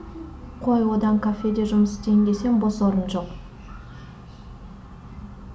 қой одан кафеде жұмыс істейін десем бос орын жоқ